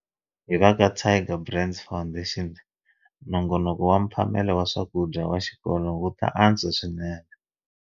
Hi va ka Tiger Brands Foundation, nongonoko wa mphamelo wa swakudya wa xikolo wu ta antswa swinene.